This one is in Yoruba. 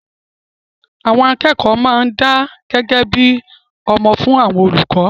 Àwọn akẹ́kọ̀ọ́ máa ń dá gẹ́gẹ́ bí ọmọ fún àwọn olùkọ́